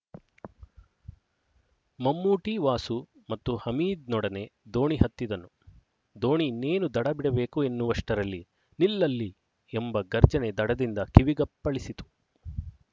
ಮಮ್ಮೂಟಿ ವಾಸು ಮತ್ತು ಹಮೀದ್‍ನೊಡನೆ ದೋಣಿ ಹತ್ತಿದನು ದೋಣಿ ಇನ್ನೇನು ದಡ ಬಿಡಬೇಕು ಎನ್ನುವಷ್ಟರಲ್ಲಿ ನಿಲ್ಲಲ್ಲಿ ಎಂಬ ಗರ್ಜನೆ ದಡದಿಂದ ಕಿವಿಗಪ್ಪಳಿಸಿತು